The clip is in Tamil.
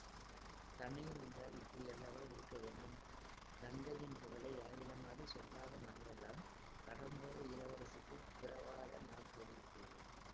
தமையன் என்றால் இப்படியல்லவா இருக்க வேண்டும் தங்கையின் புகழை யாரிடமாவது சொல்லாத நாளெல்லாம் கடம்பூர் இளவரசருக்குப் பிறவாத நாள் போலிருக்கிறது